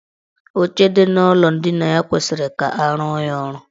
Oche dị n' ụlọ ndina ya kwesiri ka arụọ ya ọrụ.